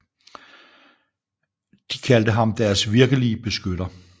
De kaldte ham deres virkelige beskytter